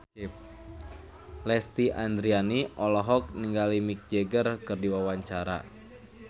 Lesti Andryani olohok ningali Mick Jagger keur diwawancara